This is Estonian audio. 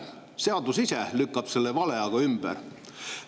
Seadus ise lükkab selle vale aga ümber.